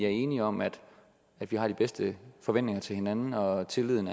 er enige om at vi har de bedste forventninger til hinanden og at tilliden